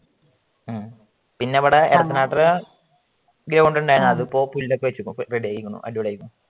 പിന്നെ ഇവിടെ എടത്തനാട്ട്കര ground ഉണ്ടായിരിന്നു അതിപ്പോ പുല്ലൊക്കെ വെച്ച് റെഡി ആയിരിക്കണു അടിപൊളി ആയിരിക്കുന്നു.